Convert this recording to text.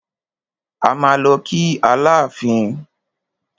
A máa lọ kí Aláàfin.